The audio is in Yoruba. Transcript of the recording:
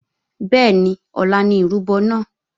Bẹ́ẹ̀ni ọ̀la ni ìrúbọ náà